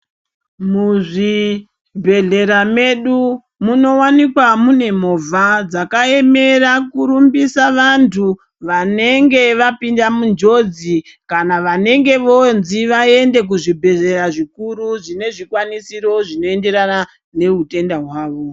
Muzvibhedhlera medu munowanikwa mune movha dzakaemera kurumbisa vantu vanenge vapinda munjodzi kana vanenge vonzi vaende kuzvibhedhlera zvikuru zvinezvikwanisiro zvinoenderana neutenda hwavo.